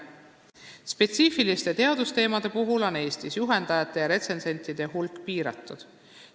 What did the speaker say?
Spetsiifiliste teadusteemade puhul on Eestis juhendajate ja retsensentide hulk piiratud.